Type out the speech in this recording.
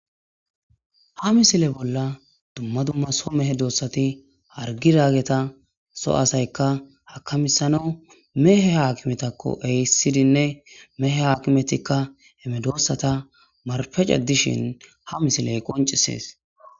Ha misile bolla dumma dumma medosati hagizayta so asati akamisana mehe akimetako ehidinne mehe akimetika he medosats narfe cadishin ha misiley qoncises